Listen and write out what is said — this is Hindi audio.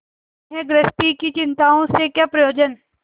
इन्हें गृहस्थी की चिंताओं से क्या प्रयोजन